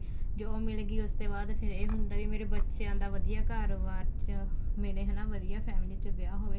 job ਮਿਲ ਗਈ ਫੇਰ ਉਸ ਤੇ ਬਾਅਦ ਫੇਰ ਇਹ ਹੁੰਦਾ ਵੀ ਮੇਰੇ ਬੱਚਿਆਂ ਦਾ ਵਧੀਆ ਘਰ ਬਾਹਰ ਚ ਮਿਲੇ ਹਨਾ ਵਧੀਆ family ਚ ਵਿਆਹ ਹੋਵੇ